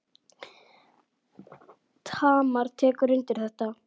Tamar tekur undir þetta.